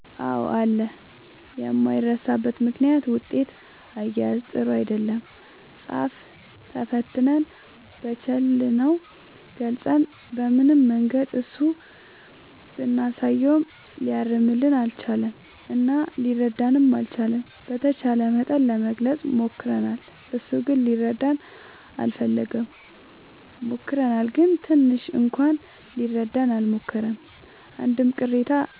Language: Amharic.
አዎ አለ የማይረሳበት ምክንያት ውጤት አያያዝ ጥሩ አይደለም ፃፍ ተፈትነን በቻልነው ገልፀን በምንም መንገድ እሱ ብናሳየውም ሊያርምልን አልቻለም እና ሊረዳንም አልቻለም። በተቻለ መጠን ለመግለፅ ሞክርናል እሱ ግን ሊረዳን አልፈለገም። ሞክረናል ግን ትንሽ እንኳን ሊረዳን አልሞከረም አንድም ቅሬታ